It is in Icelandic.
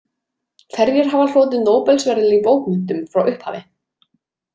Hverjir hafa hlotið Nóbelsverðlaun í bókmenntum frá upphafi?